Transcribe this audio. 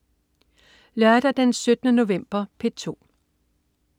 Lørdag den 17. november - P2: